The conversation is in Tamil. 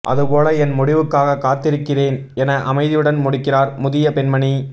அது போல என் முடிவுக்காக காத்திருக்கிறேன் என அமைதியுடன் முடிக்கிறார் முதிய பெண்மணி